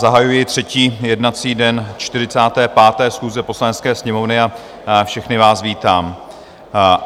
Zahajuji třetí jednací den 45. schůze Poslanecké sněmovny a všechny vás vítám.